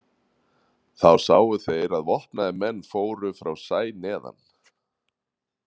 Þá sáu þeir að vopnaðir menn fóru frá sæ neðan.